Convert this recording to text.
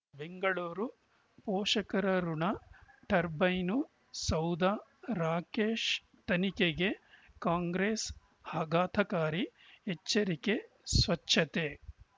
ಬೆಂಗಳೂರು ಪೋಷಕರಋಣ ಟರ್ಬೈನು ಸೌಧ ರಾಕೇಶ್ ತನಿಖೆಗೆ ಕಾಂಗ್ರೆಸ್ ಆಘಾತಕಾರಿ ಎಚ್ಚರಿಕೆ ಸ್ವಚ್ಛತೆ